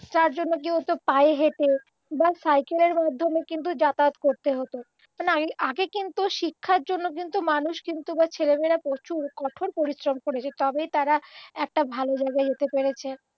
যার জন্য কি হত পায়ে হেঁটে বা সাইকেলের মাধ্যমে কিন্তু যাতায়াত করতে হত মানে আগে কিন্তু শিক্ষার জন্য কিন্তু মানুষ কিন্তু মানে ছেলেমেয়েরা প্রচুর কোঠর পরিশ্রম করেছে তবেই তারা একটা ভালো জায়গায় যেতে পেরেছে